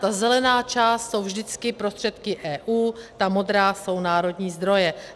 Ta zelená část jsou vždycky prostředky EU, ta modrá jsou národní zdroje.